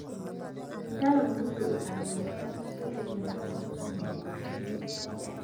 Dalaggu waxa uu caawiyaa in uu isbedel wanaagsan ku sameeyo bulshada